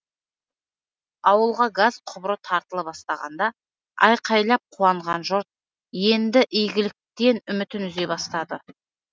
ауылға газ құбыры тартыла бастағанда айқайлап қуанған жұрт енді игіліктен үмітін үзе бастады